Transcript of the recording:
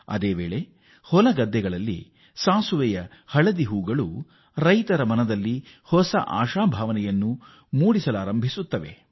ಅದೇ ವೇಳೆ ರೈತರ ಹೊಲಗದ್ದೆಗಳಲ್ಲಿ ಸಾಸಿವೆಯ ಗಿಡದಲ್ಲಿ ಹಳದಿಯ ಹೂವುಗಳು ಅರಳಿ ರೈತರ ಹೃದಯದಲ್ಲಿ ಆಶಾಭಾವನೆ ಮೂಡಿಸುತ್ತವೆ